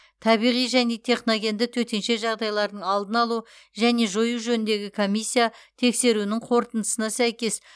табиғи және техногенді төтенше жағдайлардың алдын алу және жою жөніндегі комиссия тексеруінің қорытындысына сәйкес